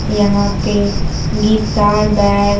यहां पे guitar bag --